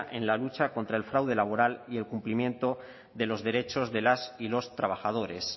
en la lucha contra el fraude laboral y el cumplimiento de los derechos de las y los trabajadores